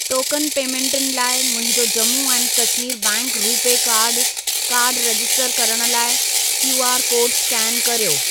Token पेमेंटुनि लाइ मुंहिंजो Jammu and Kashmir bank RuPay कार्डु कार्ड रजिस्टर करण लाइ क्यूआर कोड स्केन कर्यो।